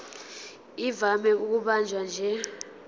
ivame ukubanjwa nje